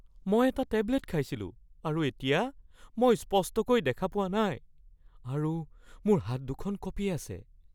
মই এটা টেবলেট খাইছিলোঁ আৰু এতিয়া মই স্পষ্টকৈ দেখা পোৱা নাই আৰু মোৰ হাত দুখন কঁপি আছে।